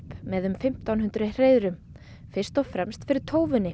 með um fimmtán hundruð hreiðrum fyrst og fremst fyrir